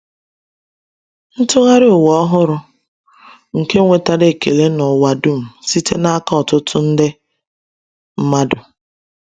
Ntụgharị Ụwa Ọhụrụ nke nwetara ekele n’ụwa dum site n’aka ọtụtụ nde mmadụ